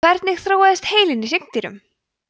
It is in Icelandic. hvernig þróaðist heilinn í hryggdýrum